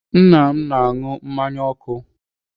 Nna m na-anụ mmanya ọkụ.